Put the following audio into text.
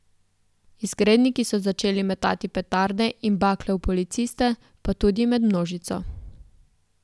Izgredniki so začeli metati petarde in bakle v policiste pa tudi med množico.